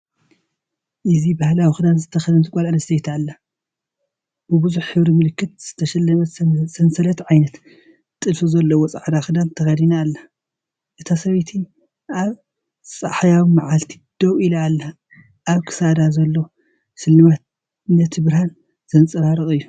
እዚ ባህላዊ ክዳን ዝተከደነት ጓል ኣንስተይቲ ኣላ። ብብዙሕ ሕብሪ ምልክት ዝተሰለመ ሰንሰለት ዓይነት ጥልፊ ዘለዎ ጻዕዳ ክዳን ተኸዲና ኣላ። እታ ሰበይቲ ኣብ ጸሓያዊ መዓልቲ ደው ኢላ ኣላ። ኣብ ክሳዳ ዘሎ ስልማት ነቲ ብርሃን ዘንጸባርቕ እዩ።